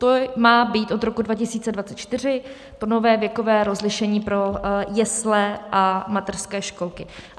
To má být od roku 2024 to nové věkové rozlišení pro jesle a mateřské školky.